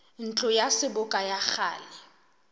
ntlo ya seboka ya kgale